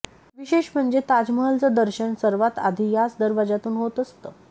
विशेष म्हणजे ताजमहलचं दर्शन सर्वात आधी याच दरवाजातून होत असतं